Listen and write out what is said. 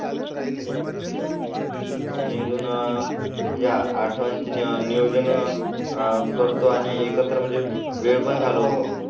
आणि अजून म्हणजे आठवांची नियोजन करतो आणि एकत्र म्हणजे वेळ घालव.